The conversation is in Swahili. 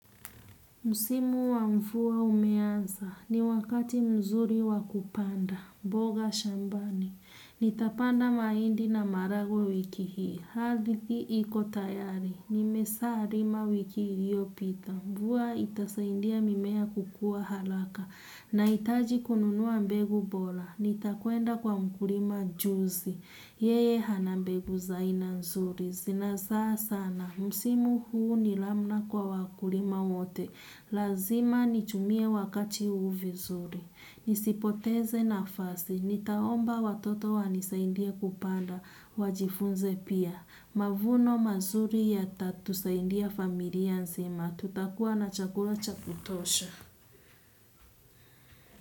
Msimu wa mvua umeanza, ni wakati mzuri wa kupanda, mboga shambani, nitapanda mahindi na maragwe wiki hii, ardhi iko tayari, nimeshalima wiki hiyo iliyopita, mvua itasaidia mimea kukua haraka, nahitaji kununua mbegu bora, nitakwenda kwa mkulima juzi, yeye hana mbegu za ina nzuri, zina zaa sana, Msimu huu ni namna kwa wakulima wote. Lazima nitumie wakati huu vizuri. Nisipoteze nafasi. Nitaomba watoto wanisaidie kupanda. Wajifunze pia. Mavuno mazuri yatatusaidia familia nzima. Tutakuwa na chakula cha kutosha.